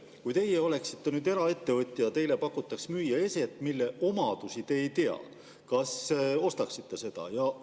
" Kui teie oleksite nüüd eraettevõtja ja teile pakutakse müüa eset, mille omadusi te ei tea, kas te ostaksite seda?